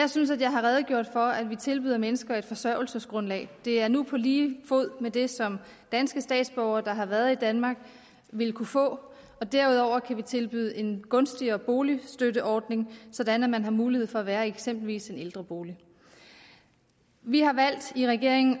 jeg synes at jeg har redegjort for at vi tilbyder mennesker et forsørgelsesgrundlag det er nu på lige fod med det som danske statsborgere der har været i danmark vil kunne få og derudover kan vi tilbyde en gunstigere boligstøtteordning sådan at man har mulighed for at være i eksempelvis en ældrebolig vi har i regeringen